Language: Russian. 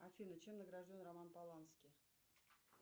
афина чем награжден роман полански